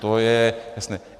To je jasné.